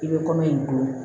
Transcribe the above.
I bɛ kɔmɔ